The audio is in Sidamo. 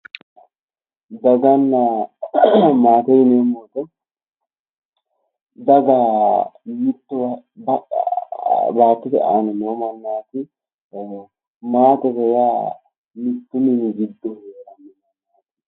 Daganna maate yineemmo woyiite daga mitte baattote aana noo mannaati maatete yaa mittu mini mannnaati